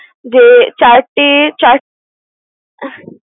যে চারটি চার